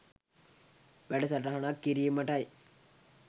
වැඩ සටහනක් කිරීමටයි.